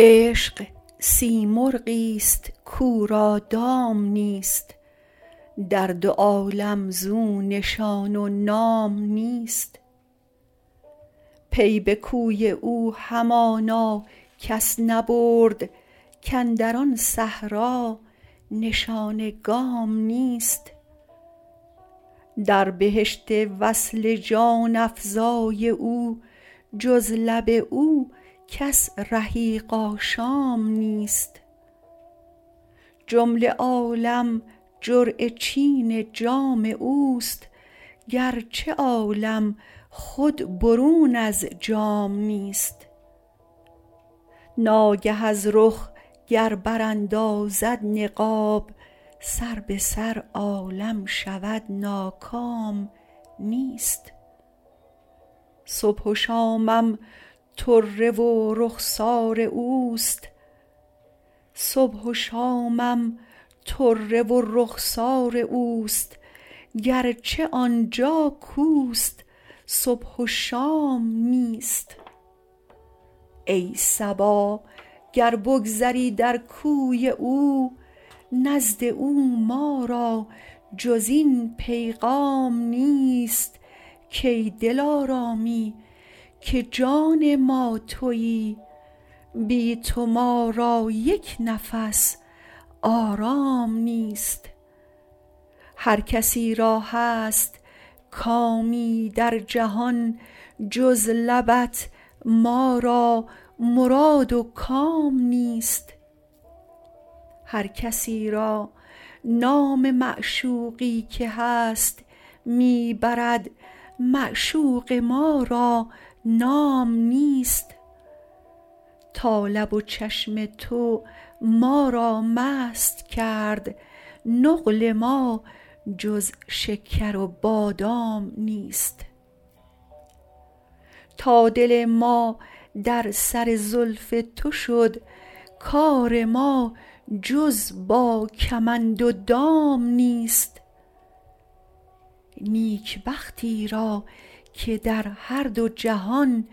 عشق سیمرغ است کو را دام نیست در دو عالم زو نشان و نام نیست پی به کوی او همانا کس نبرد کاندر آن صحرا نشان گام نیست در بهشت وصل جان افزای او جز لب او کس رحیق آشام نیست جمله عالم جرعه چین جام اوست گرچه عالم خود برون از جام نیست ناگه از رخ گر براندازد نقاب سر به سر عالم شود ناکام نیست صبح و شامم طره و رخسار اوست گرچه آنجا کوست صبح و شام نیست ای صبا گر بگذری در کوی او نزد او ما را جزین پیغام نیست کای دلارامی که جان ما تویی بی تو ما را یک نفس آرام نیست هرکسی را هست کامی در جهان جز لبت ما را مراد و کام نیست هر کسی را نام معشوقی که هست می برد معشوق ما را نام نیست تا لب و چشم تو ما را مست کرد نقل ما جز شکر و بادام نیست تا دل ما در سر زلف تو شد کار ما جز با کمند و دام نیست نیک بختی را که در هر دو جهان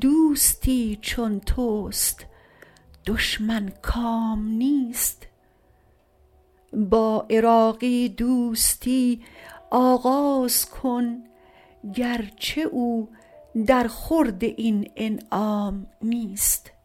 دوستی چون توست دشمن کام نیست با عراقی دوستی آغاز کن گرچه او در خورد این انعام نیست